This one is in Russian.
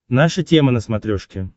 наша тема на смотрешке